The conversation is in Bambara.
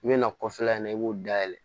I bɛ na kɔfɛla in na i b'o dayɛlɛ